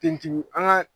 Ten an ga